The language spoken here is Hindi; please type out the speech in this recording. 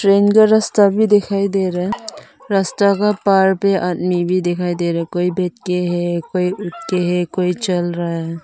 ट्रेन का रास्ता भी दिखाई दे रहा है। रास्ता का पार पे आदमी भी दिखाई दे रहा है। कोई बैठे है कोई उठ के हैं कोई चल रहा है।